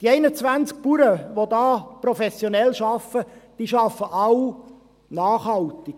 Die 21 Bauern, welche da professionell arbeiten, arbeiten alle nachhaltig.